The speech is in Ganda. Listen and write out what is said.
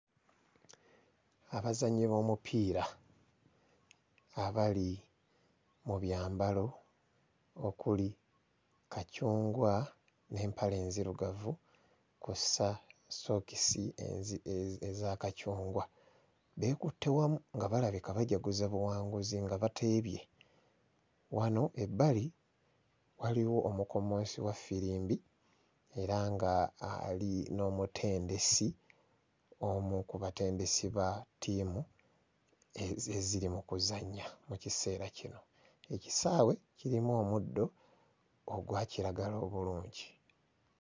Abazannyi b'omupiira abali mu byambalo okuli kacungwa n'empale enzirugavu kw'ossa ssookisi enzi... eza kacungwa beekutte wamu nga balabika bajaguza buwanguzi nga bateebye. Wano ebbali waliwo omukommonsi wa ffirimbi era ng'ali n'omutendesi, omu ku batendesi ba ttiimu eziri mu kuzannya mu kiseera kino. Ekisaawe kirimu omuddo ogwa kiragala obulungi.